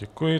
Děkuji.